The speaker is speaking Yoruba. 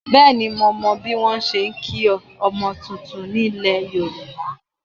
Bẹ́ẹ̀ni mo mọ bí wọ́n ṣe ń kí ọmọ titun nílẹ̀ Yorùbá